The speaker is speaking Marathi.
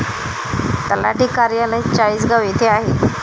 तलाठी कार्यालय चाळीसगाव येथे आहे.